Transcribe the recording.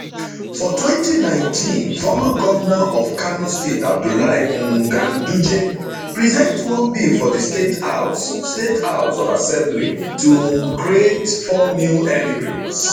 for 2019 former govnor of kano state abdullahi um ganduje present one bill for di state house state house of assembly to um create four new emirates